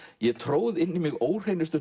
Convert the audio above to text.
ég tróð inn í mig